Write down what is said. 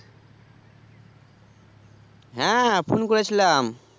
হ্যাঁ phone করেছিলাম